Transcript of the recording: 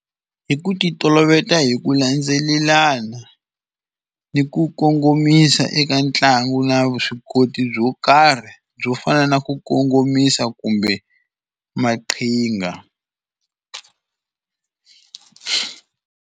Hi ku ti oloveta hi ku landzelelana ni ku kongomisa eka ntlangu na vuswikoti byo karhi byo fana na ku kongomisa kumbe maqhinga.